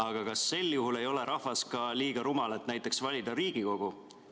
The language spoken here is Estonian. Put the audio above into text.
Aga kas sel juhul ei ole rahvas liiga rumal ka, et näiteks valida Riigikogu?